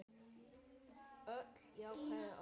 Öll jákvæð orð.